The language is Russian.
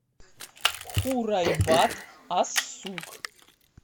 хурайбат ас сук